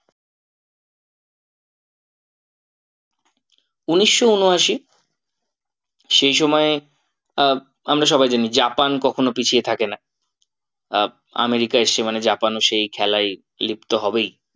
উনিশশো ঊনআশি সেই সময়ে আহ আমরা সবাই জানি জাপান কখনো পিছিয়ে থাকে না আহ আমেরিকা এসছে মানে জাপানও সেই খেলায় লিপ্ত হবেই।